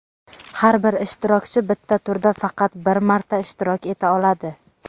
Har bir ishtirokchi bitta turda faqat bir marta ishtirok eta oladi.